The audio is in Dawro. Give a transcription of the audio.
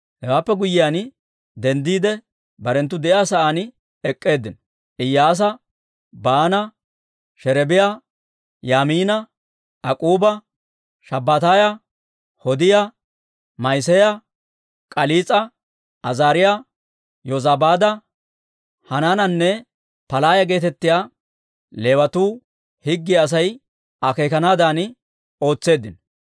Hewaappe guyyiyaan denddiide, barenttu de'iyaa sa'aan ek'k'eeddinno. Iyyaasa, Baana, Sherebiyaa, Yaamiina, Ak'k'uuba, Shabbataaya, Hodiyaa, Ma'iseeya, K'aliis'a, Azaariyaa, Yozabaada, Hanaananne Palaaya geetettiyaa Leewatuu higgiyaa Asay akeekanaadan ootseeddino.